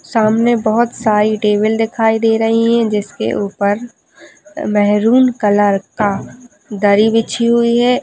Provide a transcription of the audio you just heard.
सामने बहोत सारी टेबल दिखाई दे रही है जिसके ऊपर मेहरून कलर का दरी बीछी हुई हैं।